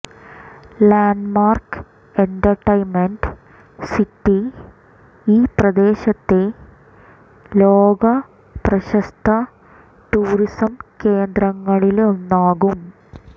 landmark Entertainment City ഈ പ്രദേശത്തെ ലോക പ്രശസ്ത ടൂറിസം കേന്ദ്രങ്ങളിലൊന്നാക്കും